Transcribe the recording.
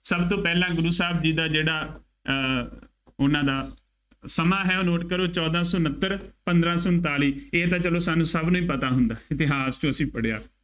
ਸਭ ਤੋਂ ਪਹਿਲਾਂ ਗੁਰੂ ਸਾਹਿਬ ਜੀ ਦਾ ਜਿਹੜਾ ਅਹ ਉਹਨਾ ਦਾ ਸਮਾਂ ਹੈ ਉਹ note ਕਰੋ, ਚੋਦਾਂ ਸੌ ਉਨੱਤਰ, ਪੰਦਰਾਂ ਸੌ ਉਨਤਾਲੀ। ਇਹ ਤਾਂ ਚੱਲੋ ਸਾਨੂੰ ਸਭ ਨੂੰ ਹੀ ਪਤਾ ਹੁੰਦਾ। ਇਤਿਹਾਸ ਚੋ ਅਸੀਂ ਪੜ੍ਹਿਆ।